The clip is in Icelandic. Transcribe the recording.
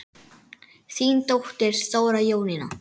Þín dóttir, Þóra Jónína.